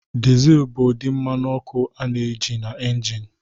Diesel bụ ụdị mmanụ ọkụ a na-eji na injin.